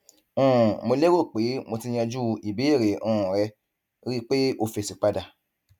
um mo lérò pé mo ti yanjú ìbéèrè um rẹ rí i pé o fèsì padà